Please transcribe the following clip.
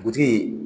Dugutigi